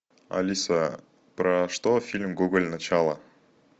алиса про что фильм гоголь начало